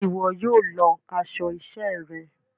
Ṣe iwọ yóò lọ aṣọ iṣẹ rẹ?